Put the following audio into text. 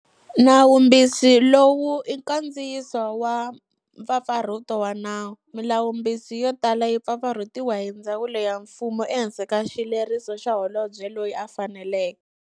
Nawumbisi lowu i nkandziyiso wa mpfapfarhuto wa nawu. Milawumbisi yo tala yi pfapfarhutiwa hi ndzawulo ya mfumo ehansi ka xileriso xa holobye loyi a faneleke.